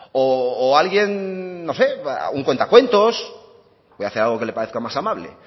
o alguien no sé a un cuentacuentos voy a hacer algo que le parezca más amable